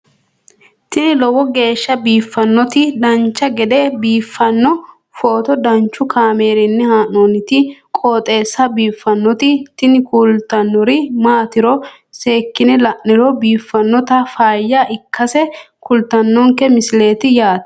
tini lowo geeshsha biiffannoti dancha gede biiffanno footo danchu kaameerinni haa'noonniti qooxeessa biiffannoti tini kultannori maatiro seekkine la'niro biiffannota faayya ikkase kultannoke misileeti yaate